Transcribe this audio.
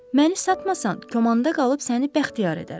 Məni satmasan, kəmanda qalıb səni bəxtiyar edərəm.